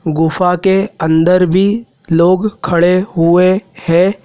गुफा के अंदर भी लोग खड़े हुए है।